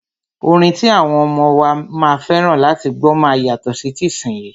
Orin ti àwọn ọmọ wa máa fẹ́ràn láti gbọ́ máa yàtọ̀ sí tìsínyii.